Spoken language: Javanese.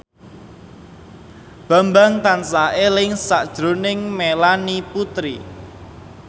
Bambang tansah eling sakjroning Melanie Putri